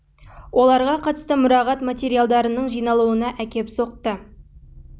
қатысты мұрағат материалдарының жиналуына әкеп соқты негізінен мұрағатында сақталуы әсер етті сондықтан ол күні бүгінге